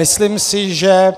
Myslím si, že